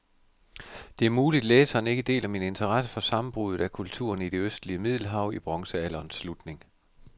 Det er muligt, læseren ikke deler min interesse for sammenbruddet af kulturerne i det østlige middelhav i bronzealderens slutning.